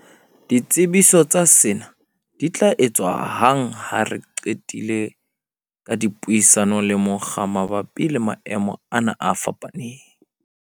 "Ditsebiso tsa sena di tla etswa hang ha re se re qetile ka dipuisano le mokga mabapi le maemo ana a fapaneng."